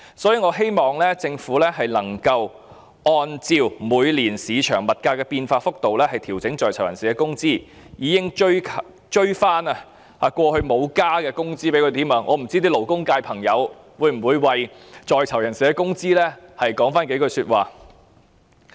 所以，我希望政府能夠按照市場每年的物價變化幅度調整在囚人士的工資，更應該追回過往未有增加的工資，不知道勞工界的朋友會否為在囚人士的工資說幾句話。